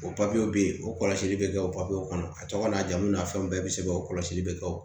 O papiyew be yen o kɔlɔsili be kɛ o papiyew kɔnɔ a tɔgɔ n'a jamu na fɛnw bɛɛ be sɛbɛn o kɔlɔsi be kɛ o